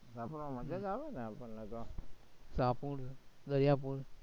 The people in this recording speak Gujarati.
મજા જ આવે ને આવું ફરવામાં ટાપુ